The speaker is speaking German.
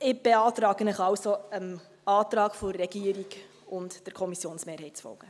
Ich beantrage Ihnen, der Regierung und der Kommissionsmehrheit zu folgen.